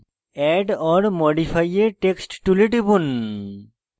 add or modify a text tool টিপুন